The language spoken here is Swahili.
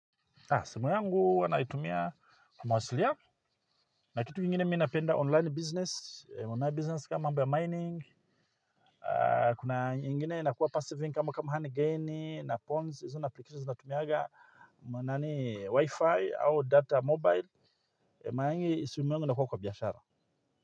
Simu yangu huwa naitumia kwa mawasiliano na kitu ingine mi napenda online business, online business kama mambo ya mining, kuna nyingine inakuwa passive income kama kama handgaini na pawns, izuna aplikatiwa zunatumiaga manani wifi au data mobile, maingi simu yungu nakua kwa biashara.